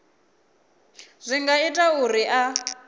zwi nga ita uri a